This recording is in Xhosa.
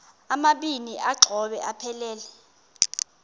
amabini exhobe aphelela